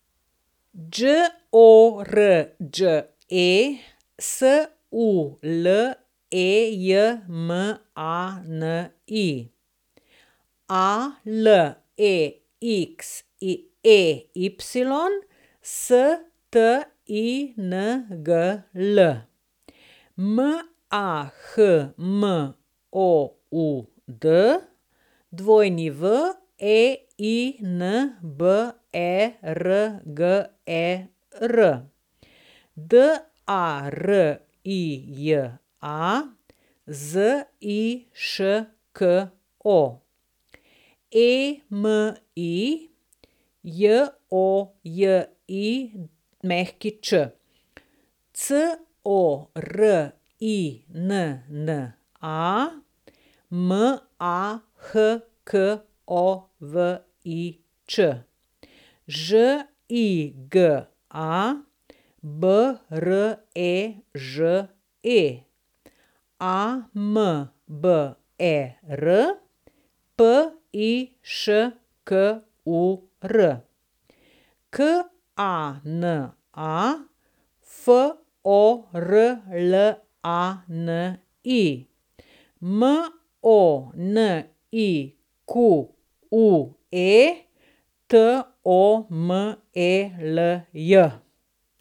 Đorđe Sulejmani, Alexey Stingl, Mahmoud Weinberger, Darija Ziško, Emi Jojić, Corinna Mahkovič, Žiga Breže, Amber Piškur, Kana Forlani, Monique Tomelj.